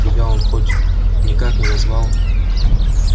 тебя он хоть никак не назвал